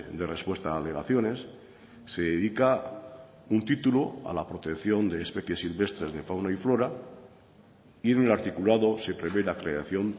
de respuesta a alegaciones se dedica un título a la protección de especies silvestres de fauna y flora y un articulado se prevé la creación